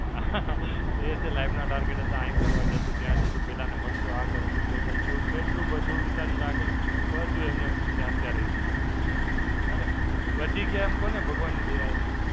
એ છે life ના target હતા. અહીં ફરવા જશું, ત્યાં જશું, પેલાને મળશું, આ કરશું, તે કરશું. એવું કેટલું બધુ વિચારીને રાખેલું. બધુ એમનેમ ત્યાં ને ત્યાં રહી ગયું. અરે, બચી ગયા એમ કહો ને ભગવાનની દયાથી.